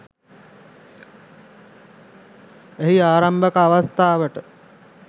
එහි ආරම්භක අවස්ථාවට